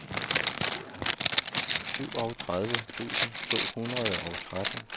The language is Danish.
syvogtredive tusind to hundrede og tretten